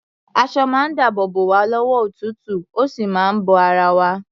Aṣọ máa ń dáàbò bò wá lọ́wọ́ òtútù, ó sì ń bo ara wa.